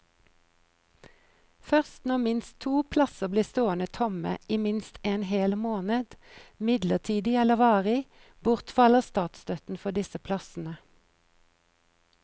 Først når minst to plasser blir stående tomme i minst en hel måned, midlertidig eller varig, bortfaller statsstøtten for disse plassene.